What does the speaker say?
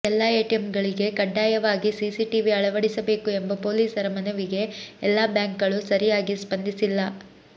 ಎಲ್ಲಾ ಎಟಿಎಂಗಳಿಗೆ ಕಡ್ಡಾಯವಾಗಿ ಸಿಸಿಟಿವಿ ಅಳವಡಿಸಬೇಕು ಎಂಬ ಪೊಲೀಸರ ಮನವಿಗೆ ಎಲ್ಲಾ ಬ್ಯಾಂಕ್ ಗಳು ಸರಿಯಾಗಿ ಸ್ಪಂದಿಸಿಲ್ಲ